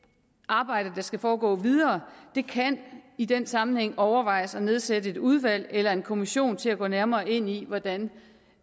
arbejde der skal foregå videre kan det i den sammenhæng overvejes at nedsætte et udvalg eller en kommission til at gå nærmere ind i hvordan